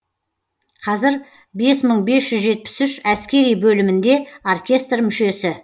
қазір бес мың бес жүз жетпіс үш әскери бөлімінде оркестр мүшесі